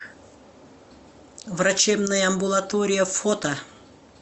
врачебная амбулатория фото